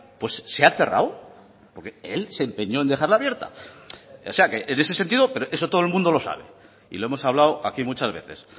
pues se ha cerrado porque él se empeñó en dejarla abierta o sea que en ese sentido pero eso todo el mundo lo sabe y lo hemos hablado aquí muchas veces